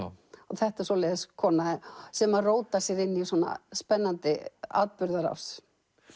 þetta er svoleiðis kona sem rótar sér inn í svona spennandi atburðarás